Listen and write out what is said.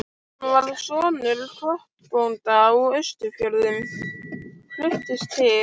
Hann var sonur kotbónda á Austfjörðum, fluttist til